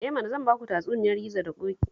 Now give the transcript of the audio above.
Eh mana, zan ba ku tatsuniyar gizo da ƙoƙi